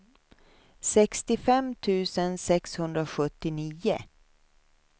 sextiofem tusen sexhundrasjuttionio